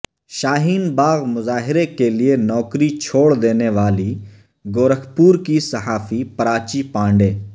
شاہین باغ مظاہرے کےلئے نوکری چھوڑ دینے والی گورکھپور کی صحافی پراچی پانڈے